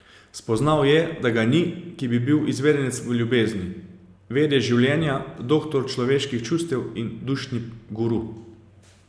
Spoznal je, da ga ni, ki bi bil izvedenec v ljubezni, vedež življenja, doktor človeških čustev in dušni guru.